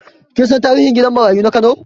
Kin san tarihin gidan marayu na Kano?